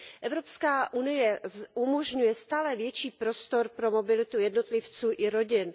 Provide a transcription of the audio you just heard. Evropská unie umožňuje stále větší prostor pro mobilitu jednotlivců i rodin.